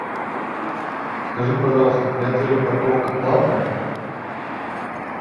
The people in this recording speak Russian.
скажи пожалуйста при отеле парковка платная